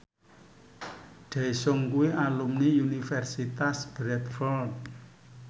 Daesung kuwi alumni Universitas Bradford